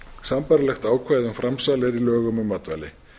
sambærilegt ákvæði um framsal er í lögum um matvæli